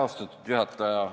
Austatud juhataja!